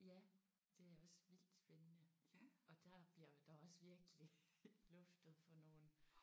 Ja det er også vildt spændende og der bliver der også virkelig luftet for nogle